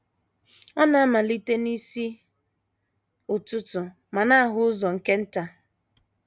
Ọ na - amalite n’isi ụtụtụ ma na - ahụ ụzọ nke nta.